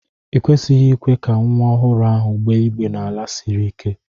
I kwesịghị ikwe ka nwa ọhụrụ ahụ gbéé igbé n'ala siri ike!